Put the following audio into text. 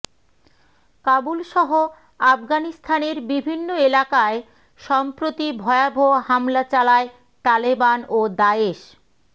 কাবুলসহ আফগানিস্তানের বিভিন্ন এলাকায় সম্প্রতি ভয়াবহ হামলা চালায় তালেবান ও দায়েশ